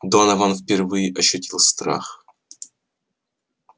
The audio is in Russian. донован впервые ощутил страх